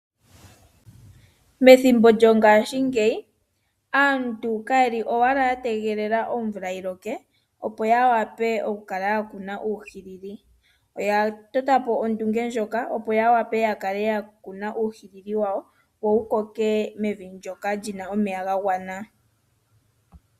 Methimbo lyongashingeyi aantu kaye li owala ya tegelela omvula yi loke opo ya wa pe okukuna uuhili . Oya tota po ondunge ndjoka opo ya wape ya kale ya kuna uuhiili wawo wo wu koke mevi ndoka li na omeya ga gwana.